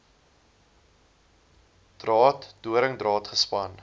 draad doringdraad gespan